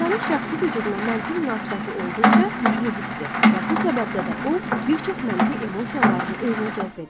İnsanın şəxsi vücuduna mənfi münasibəti olduqca güclü hisdir və bu səbəbdə də o, bir çox mənfi emosiyalarını özünə cəzb edir.